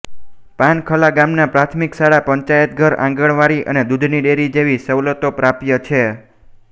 પાનખલા ગામમાં પ્રાથમિક શાળા પંચાયતઘર આંગણવાડી અને દૂધની ડેરી જેવી સવલતો પ્રાપ્ય છે